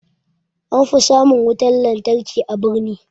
An fi samun wutan lantarki a birni